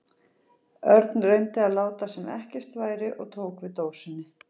Örn reyndi að láta sem ekkert væri og tók við dósinni.